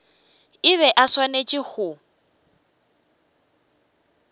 e be e swanetše go